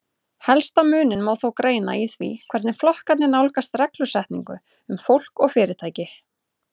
Helsta muninn má þó greina í því hvernig flokkarnir nálgast reglusetningu um fólk og fyrirtæki.